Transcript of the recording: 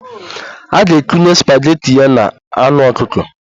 A ga-ekunye spageti ya na anụ ọkụkọ